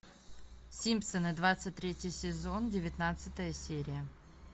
симпсоны двадцать третий сезон девятнадцатая серия